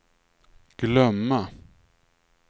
glömma